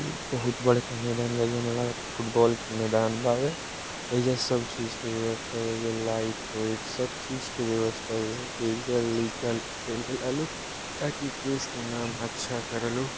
बहुत बड़े के मैदान में लगे थे फुटबॉल के मैदान बाय यह जो सब चीज के व्यवस्था व लाइट वाइट सब चीज की व्यवस्था का देश के नाम अच्छा करेलू